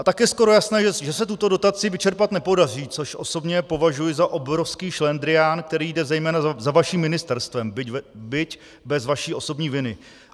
A tak je skoro jasné, že se tuto dotaci vyčerpat nepodaří, což osobně považuji za obrovský šlendrián, který jde zejména za vaším ministerstvem, byť bez vaší osobní viny.